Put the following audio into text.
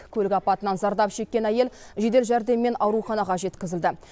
көлік апатынан зардап шеккен әйел жедел жәрдеммен ауруханаға жеткізілді